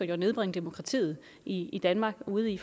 ville nedbringe bureaukratiet i i danmark ude i